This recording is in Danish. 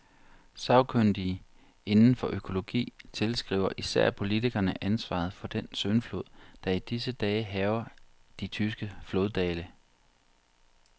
Sagkyndige inden for økologi tilskriver især politikerne ansvaret for den syndflod, der i disse dage hærger de tyske floddale.